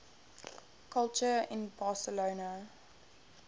culture in barcelona